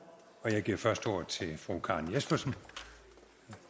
og jeg giver først ordet til fru karen jespersen